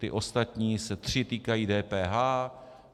Ty ostatní se tři týkají DPH.